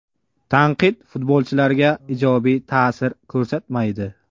Tanqid futbolchilarga ijobiy ta’sir ko‘rsatmaydi.